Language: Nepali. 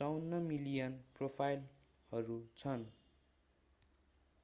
54 मिलियन प्रोफाइलहरू छन्